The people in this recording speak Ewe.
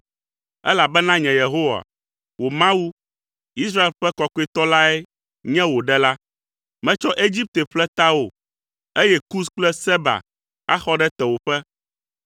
elabena nye Yehowa, wò Mawu, Israel ƒe Kɔkɔetɔ lae nye wò ɖela. Metsɔ Egipte ƒle tawò, eye Kus kple Seba axɔ ɖe tewòƒe.